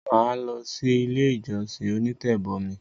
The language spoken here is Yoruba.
Mà á lọsí ilé ìjọsìn “onítẹ̀bọmi”.